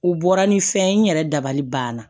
U bɔra ni fɛn ye n yɛrɛ dabali banna